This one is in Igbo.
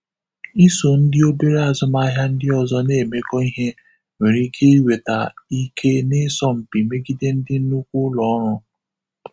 Iso ndị obere azụmaahịa ndị ọzọ na-emekọ ihe nwere ike iweta ike n'ịsọ mpi megide ndị nnukwu ụlọ ọrụ.